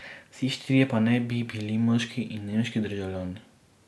Vsi štirje pa naj bi bili moški in nemški državljani.